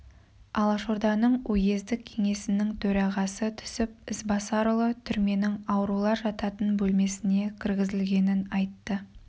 алашорданың уездік кеңесінің төрағасы түсіп ізбасарұлы түрменің аурулар жататын бөлмесіне кіргізілгенін айтты